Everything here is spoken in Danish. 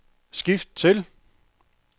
skift til